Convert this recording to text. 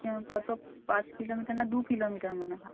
কত পাঁচ kilometer না দু kilometer মনে হয়